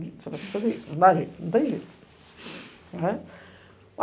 Você vai ter que fazer isso, não dá jeito, não tem jeito.